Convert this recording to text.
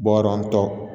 Bɔ yɔrɔ n tɔ